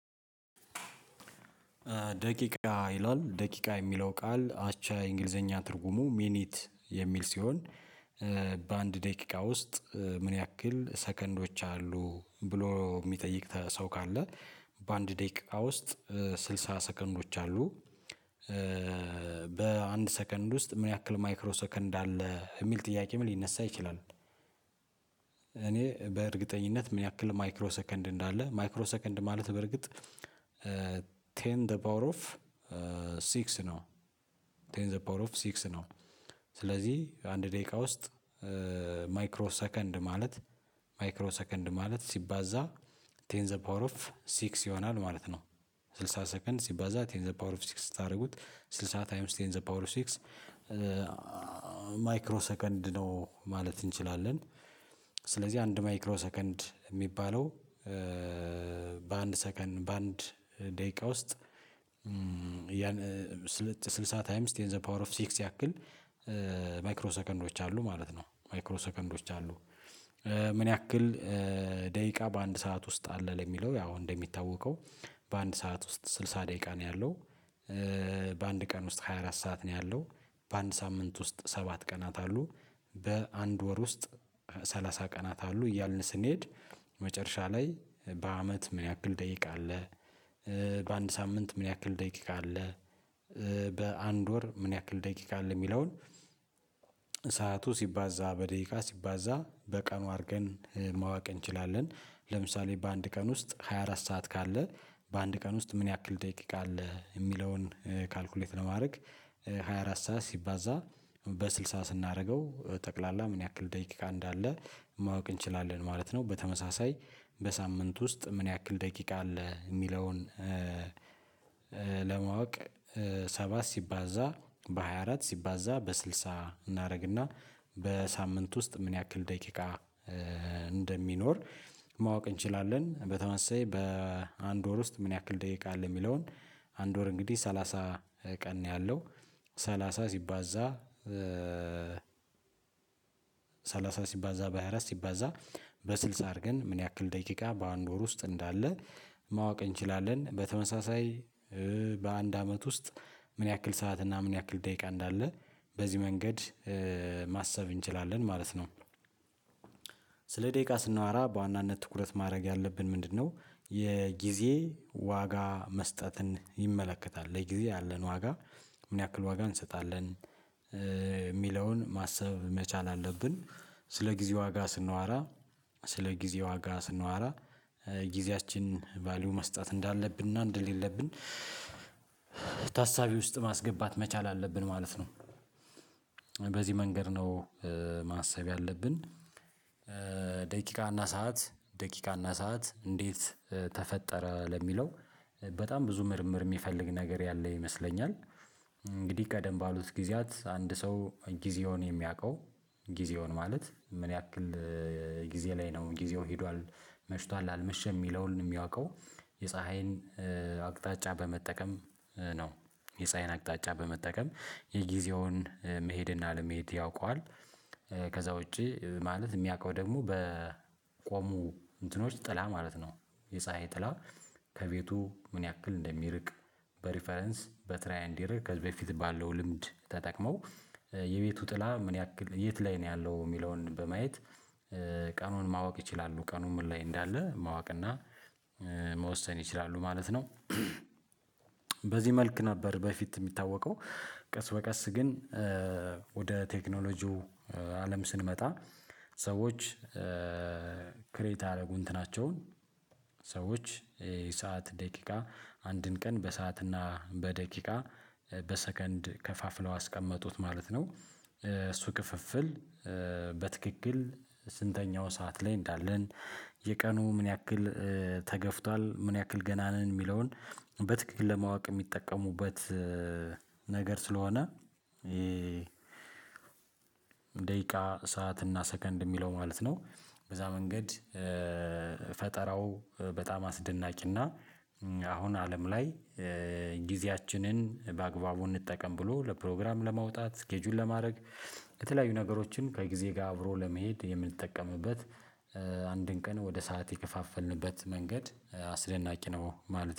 ደቂቃ ይላል ደቂቃ የሚለው ቃል አቻ እንግሊዘኛ ትርጉሙ ሚኒት የሚል ሲሆን በአንድ ደቂቃ ውስጥ ምን ያክል ሰከንዶች አሉ ብሎ የሚጠይቅ ሰው ካለ በአንድ ደቂቃ ውስጥ ስልሳ ሰከንዶች አሉ። በ በአንድ ሰከንድ ውስጥ ምን ያክል ማይክሮ ሰከንድ አለ የሚል ጥያቄም ሊነሳ ይችላል። እኔ በእርግጠኝነት ምን ያክል ማይክሮ ሰከንድ እንዳለ ማይክሮ ሰከንድ ማለት በርግጥ ቴን ዘ ፓወር ኦፍ ሲክስ ነው። ቴን ዘ ፓወር ኦፍ ሲክስ ነው። ስለዚህ አንድ ደቂቃ ውስጥ ማይክሮ ሰከንድ ማለት ማይክሮ ሰከንድ ማለት ሲባዛ ቴን ዘ ፓወር ኦፍ ሲክስ ይሆናል ማለት ነው። ስልሳ ሰከንድ ሲባዛ ቴን ዘ ፓወር ኦፍ ሲክስ ስታደርጉት ስልሳ ታይምስ ቴንስ ዘ ፓውር ሲክስ ማይክሮ ሰከንድ ነው ማለት እንችላለን። ስለዚህ አንድ ማይክሮ ሰከንድ የሚባለው በአንድ ሰከንድ በአንድ ደቂቃ ውስጥ ስልሳ ታይምስ ቴን ዘ ፓወር ኦፍ ሲክስ ያክል ማይክሮ ሰከንዶች አሉ ማለት ነው ማይክሮ ሰከንዶች አሉ። ምን ያክል ደቂቃ በአንድ ሰዓት ውስጥ አለ ለሚለው ያው እንደሚታወቀው በአንድ ሰዓት ውስጥ ስልሳ ደቂቃ ነው ያለው። በአንድ ቀን ውስጥ ሃያ አራት ሰዓት ነው ያለው በአንድ ሳምንት ውስጥ ሰባት ቀናት አሉ። በአንድ ወር ውስጥ ሰላሳ ቀናት አሉ እያልን ስንሄድ መጨረሻ ላይ በአመት ምን ያክል ደቂቃ አለ? በአንድ ሳምንት ምን ያክል ደቂቃ አለ? በአንድ ወር ምን ያክል ደቂቃ አለ የሚለውን ሰዓቱ ሲባዛ በደቂቃ ሲባዛ በቀኑ አድርገን ማወቅ እንችላለን። ለምሳሌ በአንድ ቀን ውስጥ ሃያ አራት ሰዓት ካለ በአንድ ቀን ውስጥ ምን ያክል ደቂቃ አለ የሚለውን ካልኩሌት ለማድረግ ሃያ አራት ሰዓት ሲባዛ በስድሳ ስናደርገው ጠቅላላ ምን ያክል ደቂቃ እንዳለ ማወቅ እንችላለን ማለት ነው። በተመሳሳይ በሳምንት ውስጥ ምን ያክል ደቂቃ አለ የሚለውን ለማወቅ ሰባት ሲባዛ በሃያ አራት ሲባዛ በስልሳ እናደርግና በሳምንት ውስጥ ምን ያክል ደቂቃ እንደሚኖር ማወቅ እንችላለን። በተመሳሳይ በአንድ ወር ውስጥ ምን ያክል ደቂቃ አለ የሚለውን አንድ ወር እንግዲህ ሰላሳ ቀን ነው ያለው ሰላሳ ስባዛ ሰላሳ ሲባዛ በሃያ አረት ሲባዛ በስልሳ አድርገን ምን ያክል ደቂቃ በአንድ ወር ውስጥ እንዳለ ማወቅ እንችላለን። በተመሳሳይ በአንድ አመት ውስጥ ምን ያክል ሰዓት እና ምን ያክል ደቂቃ እንዳለ በዚህ መንገድ ማሰብ እንችላለን ማለት ነው። ስለ ደቂቃ ስናወራ በዋናነት ትኩረት ማድረግ ያለብን ምንድነው? የጊዜ ዋጋ መስጠትን ይመለከታል ለጊዜ ያለን ዋጋ ምን ያክል ዋጋ እንሰጣለን የሚለውን ማሰብ መቻል አለብን። ስለ ጊዜ ዋጋ ስንዋራ ስለ ጊዜ ዋጋ ስንዋራ ጊዜያችን ቫልዩ መስጠት እንዳለብንና እንደሌለብን ታሳቢ ውስጥ ማስገባት መቻል አለብን ማለት ነው። በዚህ መንገድ ነው ማሰብ ያለብን። ደቂቃና ሰዓት ደቂቃና ሰዓት እንዴት ተፈጠረ ለሚለው በጣም ብዙ ምርምር የሚፈልግ ነገር ያለ ይመስለኛል። እንግዲህ ቀደም ባሉት ጊዜያት አንድ ሰው ጊዜውን የሚያውቀው ጊዜውን ማለት ምን ያክል ጊዜ ላይ ነው ጊዜው ሄዷል መሽቷል አልመሸም የሚለውን የሚያውቀው የፀሀይን አቅጣጫ በመጠቀም ነው የፀሀይን አቅጣጫ በመጠቀም የጊዜውን መሄድ እና አለመሄድ ያውቀዋል። ከዛ ውጪ ማለት የሚያውቀው ደግሞ በቆሙ እንትኖች ጥላ ማለት ነው። የፀሀይ ጥላ ከቤቱ ምን ያክል እንደሚርቅ? በሪፈረንስ በትራይ እንደእረር ከዚህ በፊት ባለው ልምድ ተጠቅመው የቤቱ ጥላ ምን ያክል የት ላይ ነው ያለው የሚለውን በማየት ቀኑን ማወቅ ይችላሉ ቀኑን ምን ላይ እንዳለ ማወቅ እና መወሰን ይችላሉ ማለት ነው። በዚህ መልክ ነበር በፊት የሚታወቀው ቀስ በቀስ ግን ወደ ቴክኖሎጂው አለም ስንመጣ ሰዎች ክሬት ያደረጉ እንትናቸውን ሰዎች የሰዓት ደቂቃ አንድን ቀን በሰዓትና በደቂቃ በሰከንድ ከፋፍለው አስቀመጡት ማለት ነው። እሱ ክፍፍል በትክክል ስንተኛው ሰዓት ላይ እንዳለን የቀኑ ምን ያክል ተገፍቷል ምን ያክል ገና ነን የሚለውን በትክክል ለማወቅ የሚጠቀሙበት ነገር ስለሆነ ይሄ ደቂቃ ሰዓት እና ሰከንድ የሚለው ማለት ነው። በዛ መንገድ ፈጠራው በጣም አስደናቂና አሁን አለም ላይ ጊዜያችንን በአግባቡ እንጠቀም ብሎ ለፕሮግራም ለማውጣት ስኬጁል ለማድረግ የተለያዩ ነገሮችን ከጊዜ ጋር አብሮ ለመሄድ የምንጠቀምበት። አንድን ቀን ወደ ሰዓት የከፋፈልንበት መንገድ አስደናቂ ነው ማለት